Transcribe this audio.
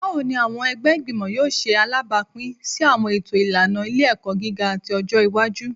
Bawo ni awọn ọmọ ẹgbẹ igbimọ yoo ṣe alabapin si awọn eto ilana ile-ẹkọ giga ti ọjọ iwaju?